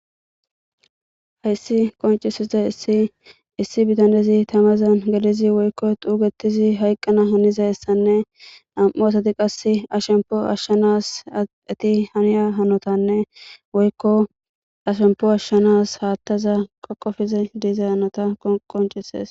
Hessi qonccissizayssi issi bithanezi thamazan gelizi woykko xuugeththizi hayqqana hanizayssanne nam7u asathi qasse a shemppuwa ashshanas ethi haniya hanothaanne woykko a shemppuwa ashshanas haaththaza qoqqofizi diza qonccissees.